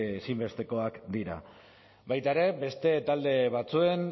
ezinbestekoak dira baita ere beste talde batzuen